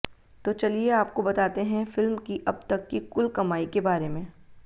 तो चलिए आपको बतातें हैं फिल्म की अब तक की कुल कमाई के बारे में